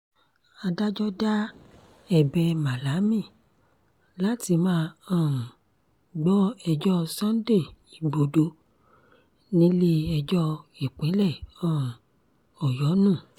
adájọ́ da ẹ̀bẹ̀ malami láti má um gbọ́ ẹjọ́ sunday igbodò nílé-ẹjọ́ ìpínlẹ̀ um ọ̀yọ́ nù